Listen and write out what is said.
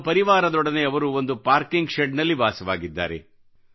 ತಮ್ಮ ಪರಿವಾರದವರೊಡನೆ ಅವರು ಒಂದು ಪಾಕಿರ್ಂಗ್ ಶೆಡ್ ನಲ್ಲಿ ವಾಸವಾಗಿದ್ದಾರೆ